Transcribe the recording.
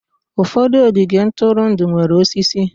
Ụfọdụ ogige ntụrụndụ nwere osisi.